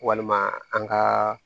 Walima an ka